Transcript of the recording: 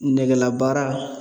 Nɛgɛlabaara